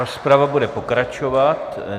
Rozprava bude pokračovat.